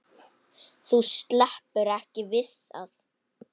Þú sleppur ekki við það!